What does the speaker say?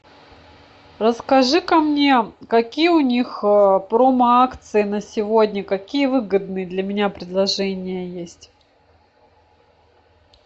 расскажи ка мне какие у них промо акции на сегодня какие выгодные для меня предложения есть